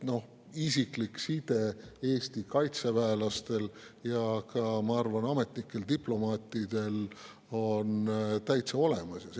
Nii et isiklik side Eesti kaitseväelastel ja ma arvan, ka ametnikel ja diplomaatidel on täitsa olemas.